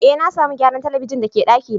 Eh, na samu gyaran telibijin da ke daki na.